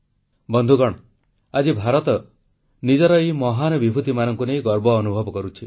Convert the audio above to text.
ବନ୍ଧୁଗଣ ଆଜି ଭାରତ ନିଜର ଏହି ମହାପୁରୁଷମାନଙ୍କୁ ନେଇ ଗର୍ବ ଅନୁଭବ କରୁଛି